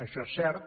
això és cert